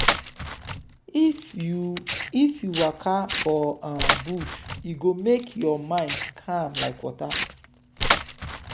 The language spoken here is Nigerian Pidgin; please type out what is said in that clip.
if you if you waka for um bush e go make your mind calm like water.